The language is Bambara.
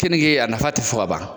Kenike a nafa tɛ fɔ ka ban.